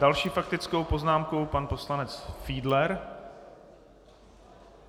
Další faktickou poznámku pan poslanec Fiedler.